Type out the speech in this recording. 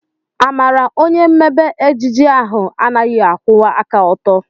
Amara onye mmebe ejiji ahu anaghị akwụwa aka ọtọ.